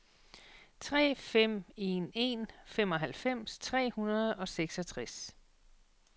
tre fem en en femoghalvfems tre hundrede og seksogtres